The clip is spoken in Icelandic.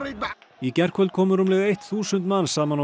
í gærkvöld komu rúmlega eitt þúsund manns saman á